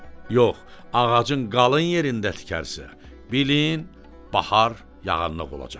Yox, ağacın qalın yerində tikərsə, bilin, bahar yağıntılıq olacaqdır.